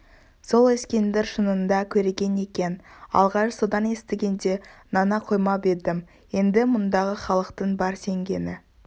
сол ескендір шынында көреген екен алғаш содан естігенде нана қоймап едім енді мұндағы халықтың бар сенгені